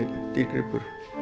dýrgripur